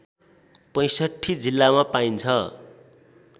६५ जिल्लामा पाइन्छ